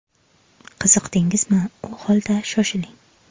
Qiziqdingizmi, u holda, shoshiling!